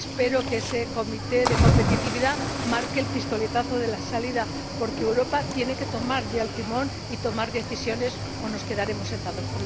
Espero que ese comité de competitividad marque el pistoletazo de salida, porque Europa tiene que tomar ya el timón y tomar decisiones o nos quedaremos sentados.